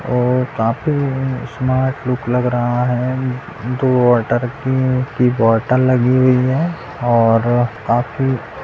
और काफी smart look लग रहा है दो वॉटर की की बॉटल लगी हुई है और काफी --